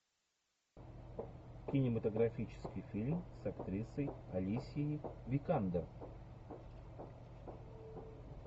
кинематографический фильм с актрисой алисией викандер